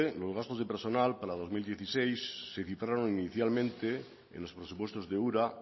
los gastos de personal para dos mil dieciséis se cifraron inicialmente en los presupuestos de ura